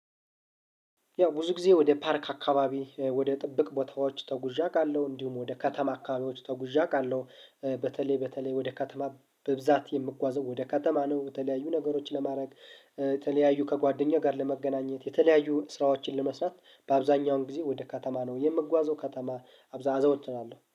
ያው ብዙ ጊዜ ወደ ፓርክ አከባቢ ወደ ጥብቅ ቦታዎች ተጉዤ አቃለው እንዲሁም ወደ ከተማ አከባቢዎች ተጉዤ አውቃለሁ። በተለይ በተለይ ወደ ከተማ በብዛት የምጓዘው ወደ ከተማ ነው። የተለያዩ ነገሮች ለማረግ የተለያዩ ከጓደኛ ጋር ለመገናኘት የተለያዩ ስራዎችን ለመስራት በአብዛኛውን ግዜ ወደ ከተማ ነው የምጓዘው ከተማ። አብዛ አዘወትራለሁ